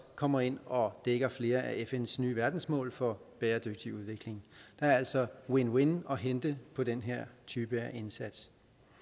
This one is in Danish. kommer ind og dækker flere af fns nye verdensmål for bæredygtig udvikling der er altså win win at hente på den her type indsats